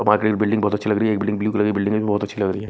Building बहुत अच्छी लग रही है एक बिल्डिंग ब्लू बिल्डिंग भी बहुत अच्छी लग रही है।